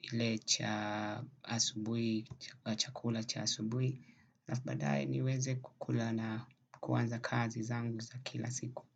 ile cha asubui, chakula cha asubui. Alaf baadae niweze kukula na kuanza kazi zangu za kila siku.